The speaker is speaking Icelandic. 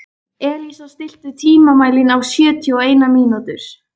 Elísa, stilltu tímamælinn á sjötíu og eina mínútur.